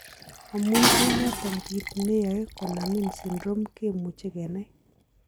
Amun en noton kit ne yoe konamin syndrome komuche kenai.